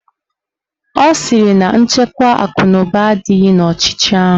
Ọ sịrị na nchekwa akụnụba adịghị n'ọchịchị ahụ